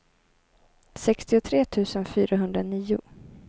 sextiotre tusen fyrahundranio